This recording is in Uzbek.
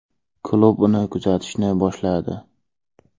Klub uni kuzatishni boshladi.